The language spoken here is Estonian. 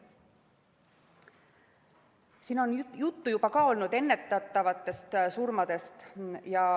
Siin on juba juttu olnud ennetatavatest surmadest.